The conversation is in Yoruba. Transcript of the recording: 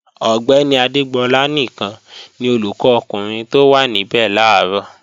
Ọ̀gbẹ́ni Adégbọlá nìkan ni olùkọ́ ọkùnrin tó wá níbẹ̀ làárọ̀